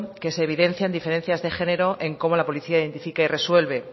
que se evidencian diferencias de género en cómo la policía identifica y resuelve